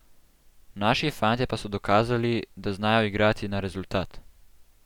Naši fantje pa so dokazali, da znajo igrati na rezultat.